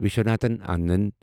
Viswanathan Anand